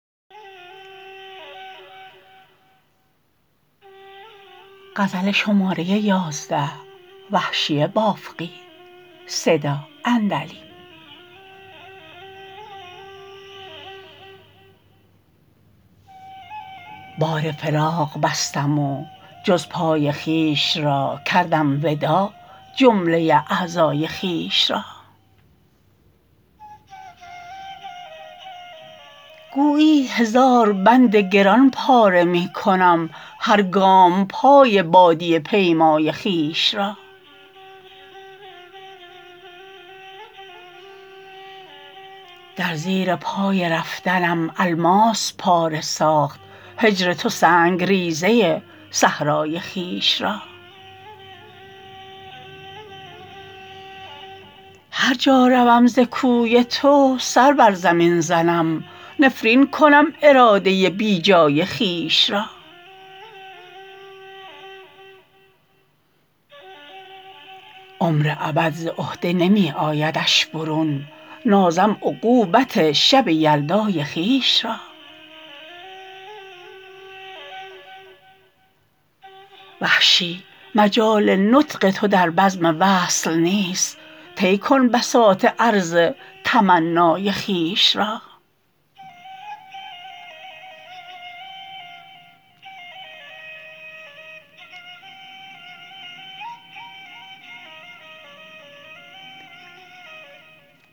بار فراق بستم و جز پای خویش را کردم وداع جمله اعضای خویش را گویی هزار بند گران پاره می کنم هر گام پای بادیه پیمای خویش را در زیر پای رفتنم الماس پاره ساخت هجر تو سنگریزه صحرای خویش را هر جا روم ز کوی تو سر بر زمین زنم نفرین کنم اراده بیجای خویش را عمر ابد ز عهده نمی آیدش برون نازم عقوبت شب یلدای خویش را وحشی مجال نطق تو در بزم وصل نیست طی کن بساط عرض تمنای خویش را